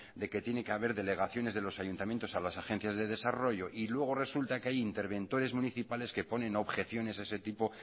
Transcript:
de que tiene que haber delegaciones de los ayuntamientos a las agencias de desarrollo y luego resulta que hay interventores municipales que ponen objeciones a ese tipo